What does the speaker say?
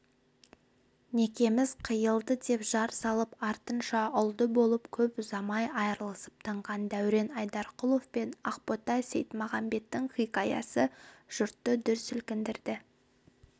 некеміз қиылды деп жар салып артынша ұлды болып көп ұзамай айырылысып тынған дәурен айдарқұлов пен ақбота сейітмағамбеттің хикаясы жұртты дүр сілкіндірді